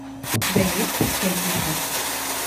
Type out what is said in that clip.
у тебя есть последний враг